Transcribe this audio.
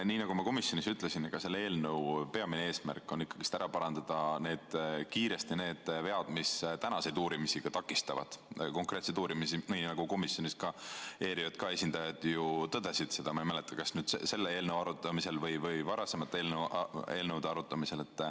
Nii nagu ma komisjonis ütlesin, siis selle eelnõu peamine eesmärk on ikkagi parandada kiiresti ära need vead, mis ka tänaseid konkreetseid uurimisi takistavad, nii nagu komisjonis ERJK esindajad ju tõdesid, ma ei mäleta, kas selle eelnõu arutamisel või varasemate eelnõude arutamisel.